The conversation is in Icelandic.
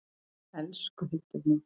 Elsku Hildur mín.